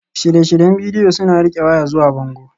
Shirye-shiryen bidiyo suna riƙe waya zuwa bango